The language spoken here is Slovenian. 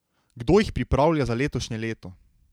Kdo jih pripravlja za letošnje leto?